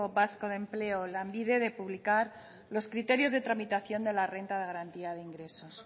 vasco de empleo lanbide de publicar los criterios de tramitación de la renta de garantía de ingresos